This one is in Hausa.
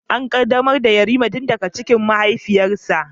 An qaddamar da Yarima tun daga cikin mahaifiyarsa